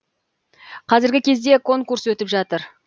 қазіргі кезде конкурс өтіп жатыр